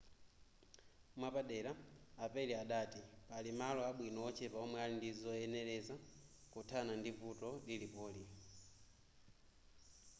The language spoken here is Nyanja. mwapadera a perry adati pali malo abwino ochepa omwe ali ndizoyenereza kuthana ndi vuto lilipoli